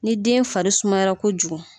Ni den fari sumayara kojugu.